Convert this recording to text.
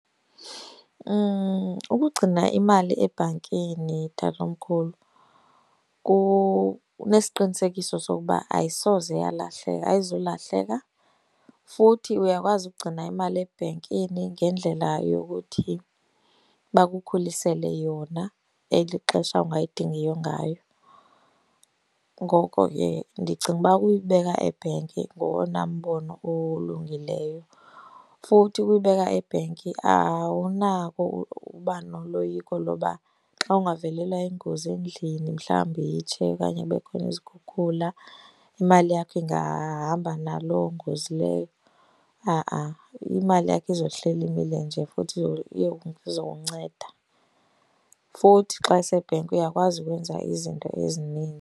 Ukugcina imali ebhankini tatomkhulu unesiqinisekiso sokuba ayisoze yalahleka, ayizulahleka. Futhi uyakwazi ukugcina imali ebhenkini ngendlela yokuthi bakukhulisele yona eli xesha ungayidingiyo ngayo, ngoko ke ndicinga uba uyibeka ebhenki ngowona mbono olungileyo. Futhi ukuyibeka ebhenki awunako uba noloyiko loba xa ungavelelwa yingozi endlini, mhlawumbi itshe okanye kube khona izikhukhula imali yakho ingahamba naloo ngozi leyo. Ha-a, imali yakho izohleli imile nje futhi izokunceda. Futhi xa isebhenki uyakwazi ukwenza izinto .